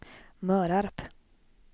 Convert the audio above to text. Mörarp